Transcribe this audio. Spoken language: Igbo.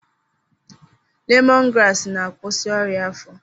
Lemọn graasị na-akwụsị ọrịa afọ.